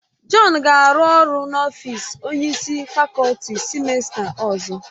Jọn ga-arụ ọrụ n'ọfịs onye isi fakọlti sịmesta ọzọ